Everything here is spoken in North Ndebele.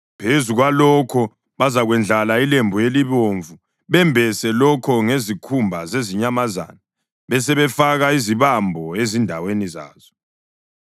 Phezu kwalokhu bazakwendlala ilembu elibomvu, bembese lokho ngezikhumba zezinyamazana besebefaka izibambo ezindaweni zazo.